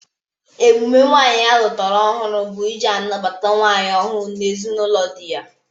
Emume nwaanyị alụtara ọhụrụ bụ ị ji nabata nwunye ọhụrụ n'ezinaụlọ dị ya.